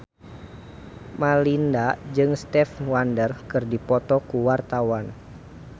Melinda jeung Stevie Wonder keur dipoto ku wartawan